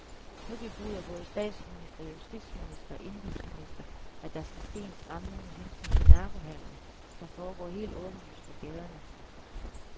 Nu bebuder både statsminister, justitsminister og indenrigsminister, at der skal ske en stramning med hensyn til narkohandelen, der foregår helt åbenlyst på gaderne.